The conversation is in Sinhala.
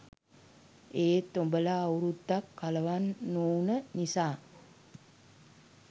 ඒත් උබලා අවුරුද්දක් කලවම් නොවුන නිසා